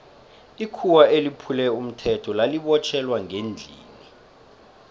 ikhuwa eliphule umthetho lali botjhelwa ngendlini